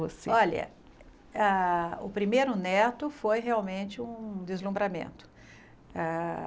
Você Olha, ah o primeiro neto foi realmente um deslumbramento. Ah